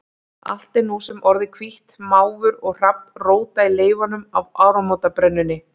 Allt er nú sem orðið hvítt, máfur og hrafn róta í leifunum af áramótabrennunni.